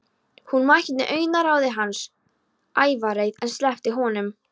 Hún mætti augnaráði hans, ævareið, en sleppti honum þó.